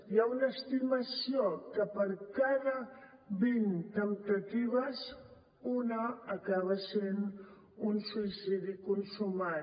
hi ha una estimació que per cada vint temptatives una acaba sent un suïcidi consumat